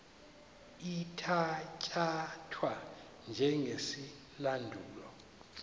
ithatya thwa njengesilandulo